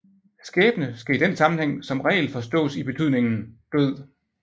Skæbne skal i den sammenhæng som regel forstås i betydningen død